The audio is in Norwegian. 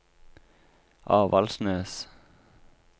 Avaldsnes